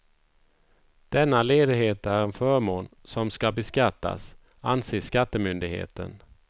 Denna ledighet är en förmån som ska beskattas, anser skattemyndigheten.